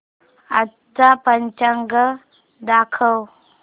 आजचं पंचांग दाखव